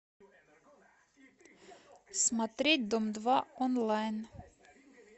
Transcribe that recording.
смотреть дом два онлайн